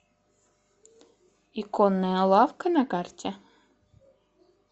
иконная лавка на карте